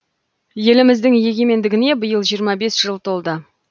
еліміздің егемендігіне биыл жиырма бес жыл толды